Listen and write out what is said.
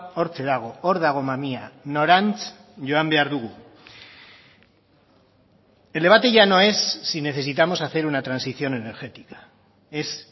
hortxe dago hor dago mamia norantz joan behar dugu el debate ya no es si necesitamos hacer una transición energética es